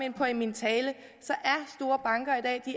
ind på i min tale